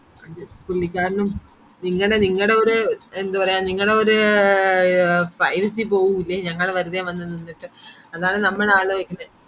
പുള്ളിക്കാരനും നിങ്ങടെ നിങ്ങടെയൊരു എന്ത് പറയാം നിങ്ങടെ ഒര് privacy പോവൂലെ ഞങ്ങളെ വന്ന് നിന്നിട്ട് അതാണ് നമ്മള് ആലോയിക്കുന്ന